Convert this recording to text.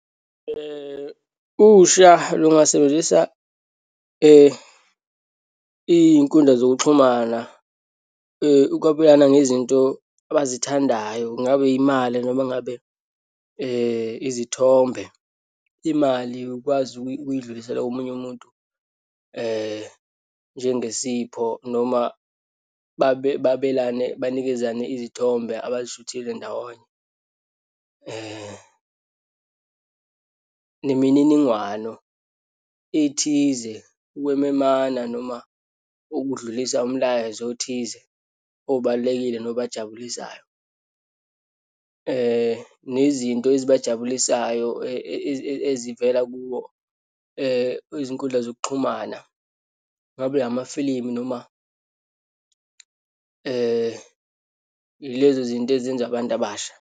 Usha lungasebenzisa iyinkundla zokuxhumana ukwabelana ngezinto abazithandayo. Kungabe imali, noma ngabe izithombe. Imali ukwazi ukuyidlulisela komunye umuntu njengesipho, noma babelane banikezane izithombe abazishuthile ndawonye, nemininingwano ethize, ukwememana noma ukudlulisa umlayezo othize obalulekile, nobajabulisayo, nezinto ezibajabulisayo ezivela kuwo izinkundla zokuxhumana. Ngabe amafilimu noma ilezi zinto ezenzwa abantu abasha.